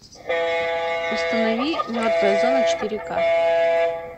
установи мертвая зона четыре к